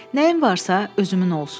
Nəyim varsa, özümün olsun.